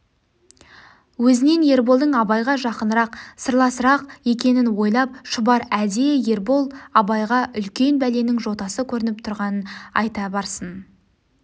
өзінен ерболдың абайға жақынырақ сырласырақ екенін ойлап шұбар әдейі ербол абайға үлкен бәленің жотасы көрініп тұрғанын айта барсын